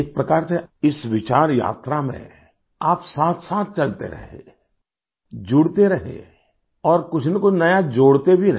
एक प्रकार से इस विचार यात्रा में आप साथसाथ चलते रहे जुड़ते रहे और कुछनकुछ नया जोड़ते भी रहे